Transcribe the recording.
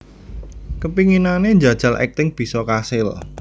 Kepinginane njajal akting bisa kasil